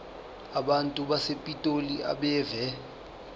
abantu basepitoli abeve